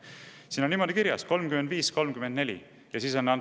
Siin on niimoodi kirjas: 35,34.